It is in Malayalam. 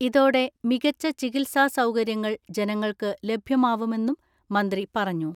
ഇതോടെ മികച്ച ചികിത്സാ സൗകര്യങ്ങൾ ജനങ്ങൾക്ക് ലഭ്യമാവുമെന്നും മന്ത്രി പറഞ്ഞു.